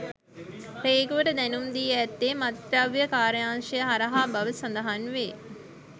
රේගුවට දැනුම් දී ඇත්තේ මත්ද්‍රව්‍ය කාර්යාංශය හරහා බව සඳහන් වේ.